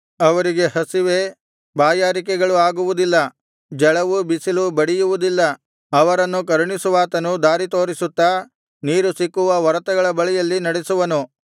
ಅವರಿಗೆ ಹಸಿವೆ ಬಾಯಾರಿಕೆಗಳು ಆಗುವುದಿಲ್ಲ ಝಳವೂ ಬಿಸಿಲೂ ಬಡಿಯುವುದಿಲ್ಲ ಅವರನ್ನು ಕರುಣಿಸುವಾತನು ದಾರಿತೋರಿಸುತ್ತಾ ನೀರು ಸಿಕ್ಕುವ ಒರತೆಗಳ ಬಳಿಯಲ್ಲಿ ನಡೆಸುವನು